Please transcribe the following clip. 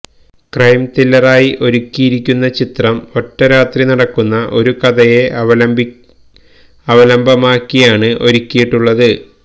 crime ത്രില്ലറായി ഒരുക്കിയിരിക്കുന്ന ചിത്രം ഒറ്റ രാത്രി നടക്കുന്ന ഒരു കഥയെ അവലംബമാക്കിയാണ് ഒരുക്കിയിട്ടുള്ളത്